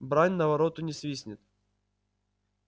брань на вороту не свистнет